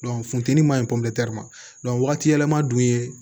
funteni man ɲi ma wagati yɛlɛma dun ye